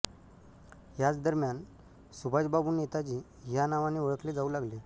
ह्याच दरम्यान सुभाषबाबू नेताजी ह्या नावाने ओळखले जाऊ लागले